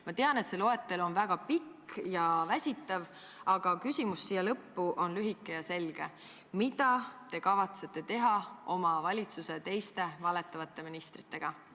Ma tean, et see loetelu on väga pikk ja väsitav, aga küsimus siia lõppu on lühike ja selge: mida te kavatsete teha oma valitsuse teiste valetavate ministritega?